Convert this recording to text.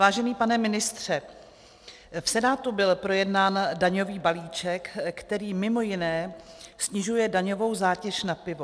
Vážený pane ministře, v Senátu byl projednán daňový balíček, který mimo jiné snižuje daňovou zátěž na pivo.